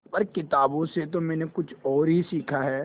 पर किताबों से तो मैंने कुछ और ही सीखा है